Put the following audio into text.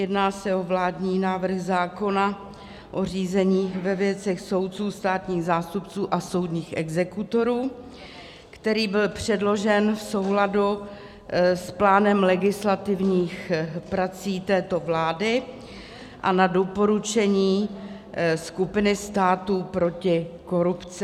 Jedná se o vládní návrh zákona o řízení ve věcech soudců, státních zástupců a soudních exekutorů, který byl předložen v souladu s plánem legislativních prací této vlády a na doporučení skupiny států proti korupci.